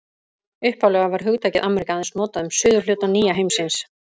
Upphaflega var hugtakið Ameríka aðeins notað um suðurhluta nýja heimsins.